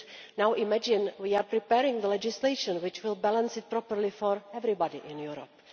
Now we are preparing the legislation which will balance this properly for everybody in Europe.